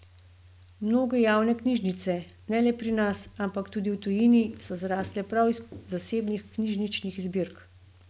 Mnoge javne knjižnice, ne le pri nas, ampak tudi v tujini, so zrasle prav iz zasebnih knjižničnih zbirk.